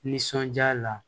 Nisɔndiya la